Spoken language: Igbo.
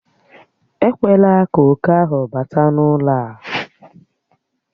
Ekwela ka oke ahụ bata n'ụlọ a!